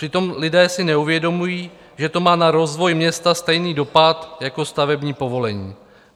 Přitom lidé si neuvědomují, že to má na rozvoj města stejný dopad jako stavební povolení.